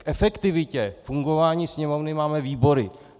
K efektivitě fungování Sněmovny máme výbory.